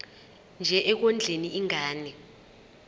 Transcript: nje ekondleni ingane